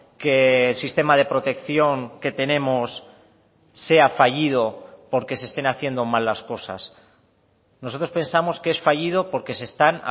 que el sistema de protección que tenemos sea fallido porque se estén haciendo mal las cosas nosotros pensamos que es fallido porque se están